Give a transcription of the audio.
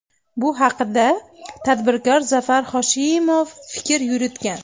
Bu haqda tadbirkor Zafar Hoshimov fikr yuritgan .